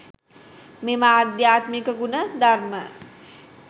මෙම ආධ්‍යාත්මික ගුණ ධර්ම